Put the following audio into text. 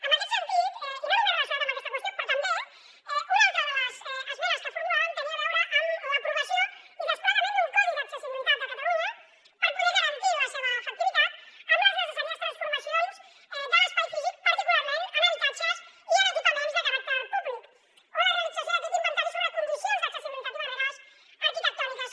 en aquest sentit i no només relacionat amb aquesta qüestió però també una altra de les esmenes que formulàvem tenia a veure amb l’aprovació i desplegament d’un codi d’accessibilitat a catalunya per poder garantir la seva efectivitat amb les necessàries transformacions de l’espai físic particularment en habitatges i en equipaments de caràcter públic o la realització d’aquest inventari sobre condicions d’accessibilitat i barreres arquitectòniques